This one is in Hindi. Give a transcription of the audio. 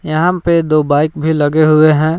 यह पे दो बाइक भी लगे हुए हैं।